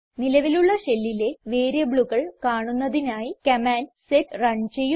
നിലവിലുള്ള ഷെല്ലിലെ വേരിയബിളുകൾ കാണുന്നതിനായി കമാൻഡ് സെറ്റ് റൺ ചെയ്യുന്നു